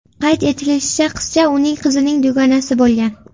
Qayd etilishicha, qizcha uning qizining dugonasi bo‘lgan.